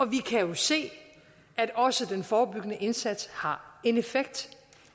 vi kan jo se at også den forebyggende indsats har en effekt